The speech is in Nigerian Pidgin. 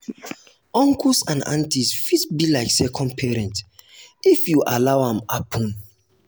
uncles and aunties fit be be like second parents if you allow am happen.